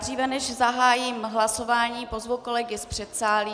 Dříve než zahájím hlasování, pozvu kolegy z předsálí.